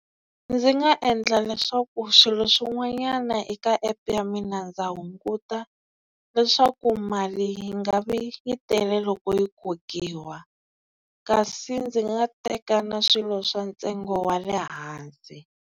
Ndzi nga endla leswaku swilo swin'wanyana eka app ya mina ndza hunguta leswaku mali yi nga vi yi tele loko yi kokiwa kasi ndzi nga teka na swilo swa ntsengo wa le hansi.